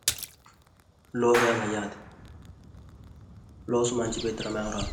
Looso yaa mayyaate loosu manchi beegttira maayi horo aanno?